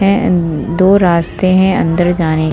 दो रस्ते है अंदर जाने--